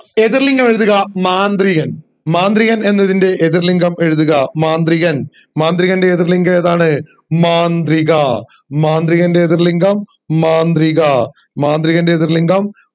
എതിർ ലിംഗം എഴുതുക മാന്ത്രികൻ മാന്ത്രികൻ എന്നതിൻറെ എതിർ ലിംഗം എഴുതുക മാന്ത്രികൻ മാന്ത്രികൻറെ എതിർ ലിംഗം ഏതാണ് മാന്ത്രിക മാന്ത്രികൻറെ എതിർ ലിംഗം മാന്ത്രിക മാന്ത്രികൻറെ എതിർ ലിംഗം